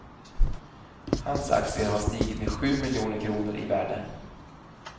Hans aktier har stigit med sju miljoner kronor i värde.